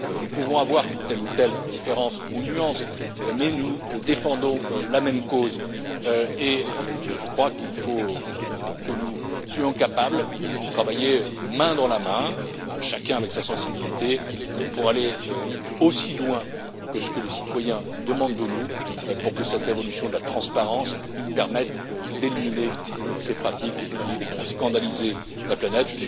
Nous pouvons avoir telle ou telle différence ou nuance, mais nous défendons la même cause, et je crois qu'il faut que nous soyons capables de travailler main dans la main, chacun avec sa sensibilité, pour aller aussi loin que ce que les citoyens attendent de nous pour que cette révolution de la transparence permette d'éliminer ces pratiques qui ont scandalisé la planète.